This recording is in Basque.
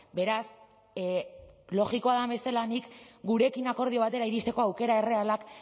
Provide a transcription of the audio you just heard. beraz logikoa den bezala nik gurekin akordio batera iristeko aukera errealak